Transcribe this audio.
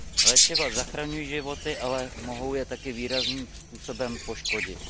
Léčiva zachraňují životy, ale mohou je také výrazným způsobem poškodit.